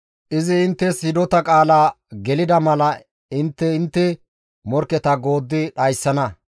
Izi inttes hidota qaala gelida mala intte intte morkketa gooddi dhayssana.